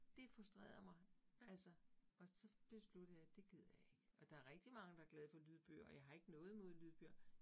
Det frustrerede mig, altså og så besluttede jeg det gider jeg ikke. Og der rigtig mange, der glade for lydbøger, og jeg har ikke noget imod lydbøger